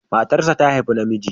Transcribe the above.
Matarsa ta haifi namiji.